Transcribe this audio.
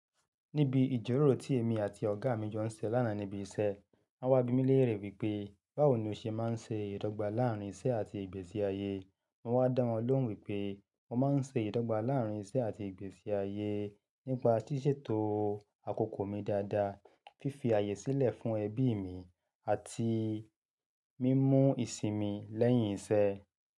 Níbi ìjíròrò tí èmi àti ọ̀gá mi jọ ń ṣe lánàá níbi iṣẹ́, wọ́n wá bí mi léèrè wípé báwo ni o ṣe máa ń ṣe ìdọ́gba láàárín iṣẹ́ àti ìgbésí ayé. Mo wá dá wọn lóhùn wípé mo máa ń ṣe ìdọ́gba láàárín iṣẹ́ àti ìgbésí ayé nípa ṣíṣètò àkókò mi dáadáa, fífi ààyè sílẹ̀ fún ẹbí mi àti mímú ìsinmi lẹ́yìn iṣẹ́.